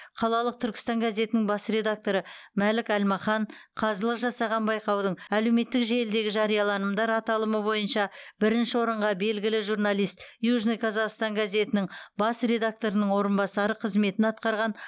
қалалық түркістан газетінің бас редакторы мәлік әлмахан қазылық жасаған байқаудың әлеуметтік желідегі жарияланымдар аталымы бойынша бірінші орынға белгілі журналист южный казахстан газетінің бас редакторының орынбасары қызметін атқарған